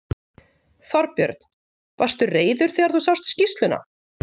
Þorbjörn: Varstu reiður þegar þú sást skýrsluna?